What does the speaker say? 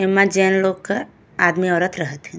एमे जैन लोग का आदमी औरत रहत हइ।